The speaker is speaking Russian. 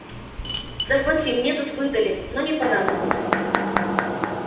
захвати мне тут выдали но не понадобилось